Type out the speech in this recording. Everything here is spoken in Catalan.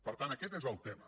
per tant aquest és el tema